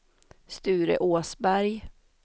Sture Åsberg